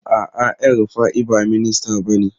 A'a, El Rufai ba minista bane.